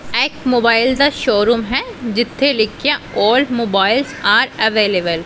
ਐ ਇੱਕ ਮੋਬਾਇਲ ਦਾ ਸ਼ੋਰੂਮ ਹੈ ਜਿੱਥੇ ਲਿਖਿਆ ਓਲਡ ਮੋਬਾਇਲ ਆਰ ਅਵੇਲੇਬਲ ।